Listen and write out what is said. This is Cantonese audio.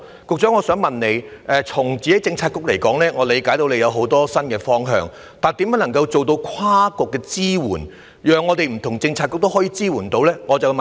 據我理解，局長的政策局有很多新方向，問題是如何能夠做到跨局支援，讓不同的政策局可以提供支援。